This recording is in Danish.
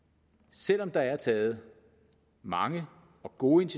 selv om der er taget mange og gode